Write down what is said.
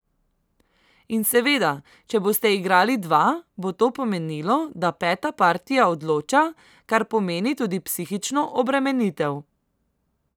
In seveda, če boste igrali dva, bo to pomenilo, da peta partija odloča, kar pomeni tudi psihično obremenitev.